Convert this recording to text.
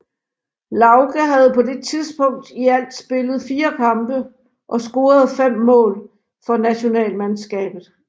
Lauge havde på det tidspunkt i alt spillet 4 kampe og scoret 5 mål for nationalmandskabet